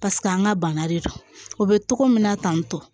paseke an ga bana de don o be togo min na tantɔ